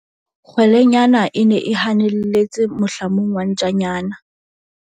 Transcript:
kgwelenyana e ne e hanelletse mohlamung wa ntjanyana